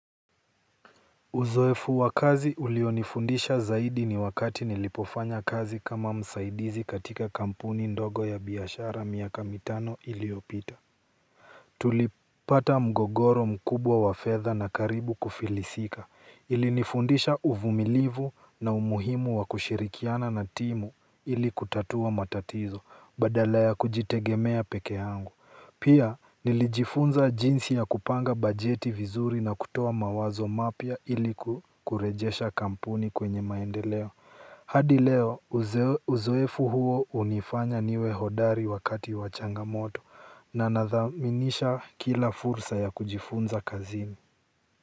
Uzoefu wa kazi ulionifundisha zaidi ni wakati nilipofanya kazi kama msaidizi katika kampuni ndogo ya biashara miaka mitano iliyopita. Tulipata mgogoro mkubwa wa fedha na karibu kufilisika ilinifundisha uvumilivu na umuhimu wa kushirikiana na timu ili kutatua matatizo badala ya kujitegemea peke yangu. Pia nilijifunza jinsi ya kupanga bajeti vizuri na kutoa mawazo mapya ili kurejesha kampuni kwenye maendeleo. Hadi leo uzoefu huo hunifanya niwe hodari wakati wa changamoto na nadhaminisha kila fursa ya kujifunza kazini.